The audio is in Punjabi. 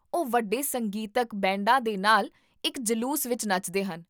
ਉਹ ਵੱਡੇ ਸੰਗੀਤਕ ਬੈਂਡਾਂ ਦੇ ਨਾਲ ਇੱਕ ਜਲੂਸ ਵਿੱਚ ਨੱਚਦੇ ਹਨ